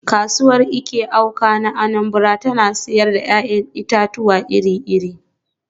“Kasuwar Eke-Awka (Anambra) tana sayar da ‘ya’yan itatuwa iri-iri.